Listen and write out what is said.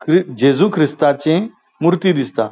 क जेजु ख्रिस्ताची मूर्ती दिसता.